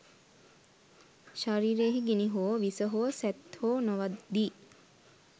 ශරීරයෙහි ගිනි හෝ, විස හෝ, සැත් හෝ නොවදියි.